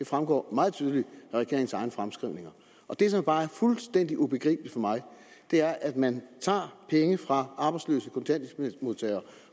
fremgår meget tydeligt af regeringens egne fremskrivninger det som bare er fuldstændig ubegribeligt for mig er at man tager penge fra arbejdsløse kontanthjælpsmodtagere